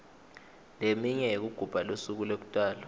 leminye yekugubha lusuku lekutalwa